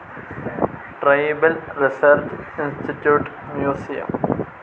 tribal research institute museum